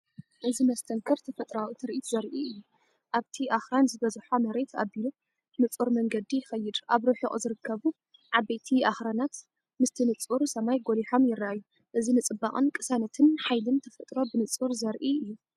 እዚ መስተንክር ተፈጥሮኣዊ ትርኢት ዘርኢ እዩ። ኣብቲ ኣኽራን ዝበዝሖ መሬት ኣቢሉ ንጹር መንገዲ ይኸይድ፣ ኣብ ርሑቕ ዝርከቡ ዓበይቲ ኣኽራናት ምስቲ ንጹር ሰማይ ጐሊሖም ይረኣዩ። እዚ ንጽባቐን ቅሳነትን ሓይልን ተፈጥሮ ብንጹር ዘርኢ እዩ።